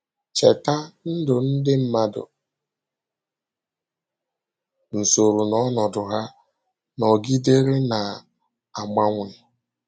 Chèta, ndụ ndị mmadụ — nsọ̀rụ̀ na ọnọdụ ha — nọgidere na-agbanwe.